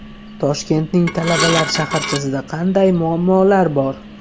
Toshkentning talabalar shaharchasida qanday muammolar bor?.